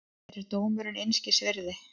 Mér er dómurinn einskis virði.